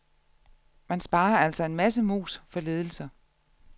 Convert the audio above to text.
Man sparer altså en masse mus for lidelser.